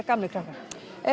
gamlir krakkar